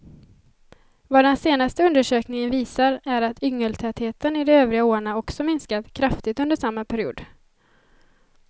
Vad den senaste undersökningen visar är att yngeltätheten i de övriga åarna också minskat kraftigt under samma period.